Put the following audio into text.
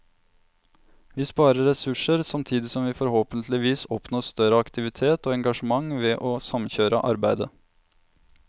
Vi sparer ressurser, samtidig som vi forhåpentligvis oppnår større aktivitet og engasjement ved å samkjøre arbeidet.